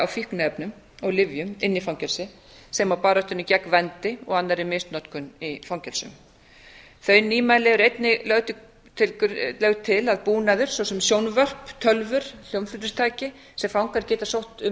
fíkniefnum og lyfjum inn í fangelsi sem og baráttunni gegn vændi og annarri misnotkun í fangelsum þau nýmæli eru einnig lögð til að búnaður svo sem sjónvörp tölvur og hljómflutningstæki sem fangar geta sótt um